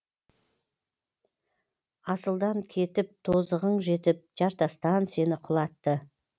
асылдан кетіп тозығың жетіп жартастан сені құлатты